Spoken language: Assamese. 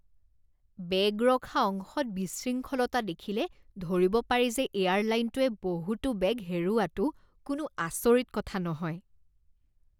বেগ ৰখা অংশত বিশৃংখলতা দেখিলে ধৰিব পাৰি যে এয়াৰলাইনটোৱে বহুতো বেগ হেৰুওৱাটো কোনো আচৰিত কথা নহয়।